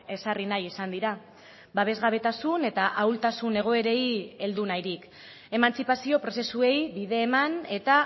ezarri nahi izan dira babesgabetasun eta ahultasun egoerei heldu nahirik emantzipazio prozesuei bide eman eta